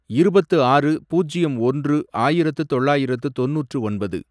இருபத்து ஆறு, பூஜ்யம் ஒன்று, ஆயிரத்து தொள்ளாயிரத்து தொண்ணூற்று ஒன்பது